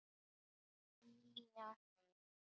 Nýja heimi?